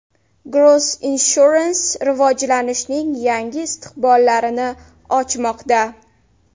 Gross Insurance rivojlanishning yangi istiqbollarini ochmoqda.